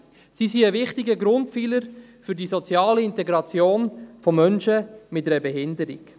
Sie sind ein wichtiger Grundpfeiler für die soziale Integration von Menschen mit einer Behinderung.